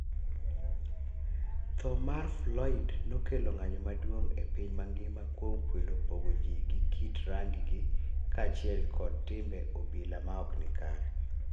Tho mar Folyd nokelo ng'anyo mauong' e piny mangima kuom kwedo pogo ji gi kit rangi gi kaachiel kod timbe obila maok ni kare